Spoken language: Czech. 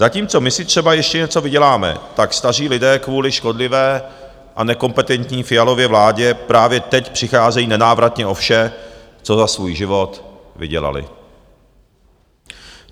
Zatímco my si třeba ještě něco vyděláme, tak staří lidé kvůli škodlivé a nekompetentní Fialově vládě právě teď přicházejí nenávratně o vše, co za svůj život vydělali.